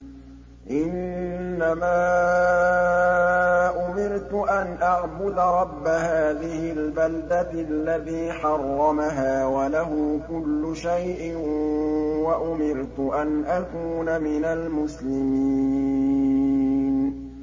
إِنَّمَا أُمِرْتُ أَنْ أَعْبُدَ رَبَّ هَٰذِهِ الْبَلْدَةِ الَّذِي حَرَّمَهَا وَلَهُ كُلُّ شَيْءٍ ۖ وَأُمِرْتُ أَنْ أَكُونَ مِنَ الْمُسْلِمِينَ